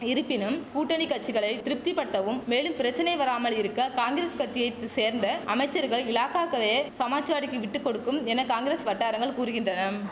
இருப்பினும் கூட்டணி கச்சிகளை திருப்திபடுத்தவும் மேலும் பிரச்சனை வராமல் இருக்க காங்கிரஸ் கச்சியைத்து சேர்ந்த அமைச்சர்கள் இலாகாக்களே சமாஜ்வாடிக்கி விட்டு கொடுக்கும் என காங் வட்டாரங்கள் கூறுகின்றனம்